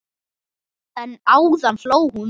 En áðan hló hún.